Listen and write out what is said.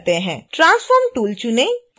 transform tool चुनें